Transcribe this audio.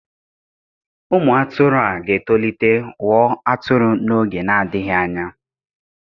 Ụmụ atụrụ a ga-etolite ghọọ atụrụ n'oge na-adịghị anya.